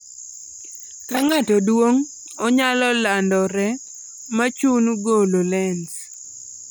Ka ng'ato duong', onyalo landore ma chun golo lens